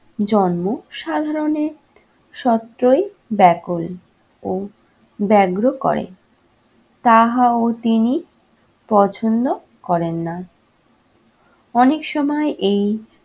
জন্ম সাধারণে সত্যই ব্যাকুল ও ব্যাঘ্র করে। তাহা ও তিনি পছন্দ করেন না। অনেক সময় এই